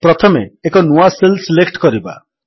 ପ୍ରଥମେ ଏକ ନୂଆ ସେଲ୍ ସିଲେକ୍ଟ କରିବା